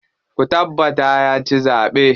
Ku tabbata ya ci zaɓe.